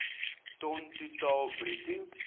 ton totaal bruto